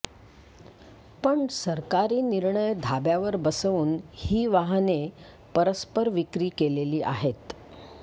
पण सरकारी निर्णय धाब्यावर बसवून ही वाहने परस्पर विक्री केलेली आहेत